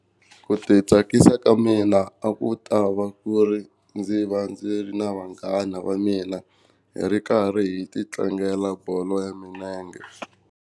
Ku ti tsakisa ka mina a ku ta va ku ri ndzi va ndzi ri na vanghana va mina hi ri karhi hi titlangela bolo ya milenge.